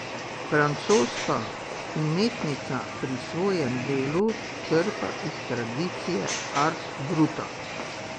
Francoska umetnica pri svojem delu črpa iz tradicije art bruta.